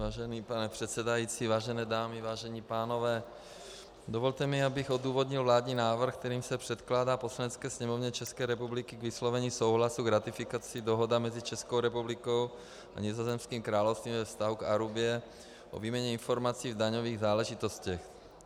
Vážený pane předsedající, vážené dámy, vážení pánové, dovolte mi, abych odůvodnil vládní návrh, kterým se předkládá Poslanecké sněmovně České republiky k vyslovení souhlasu s ratifikací Dohoda mezi Českou republikou a Nizozemským královstvím ve vztahu k Arubě o výměně informací v daňových záležitostech.